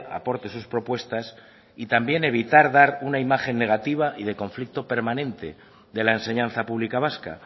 aporte sus propuestas y también evitar dar una imagen negativa y de conflicto permanente de la enseñanza pública vasca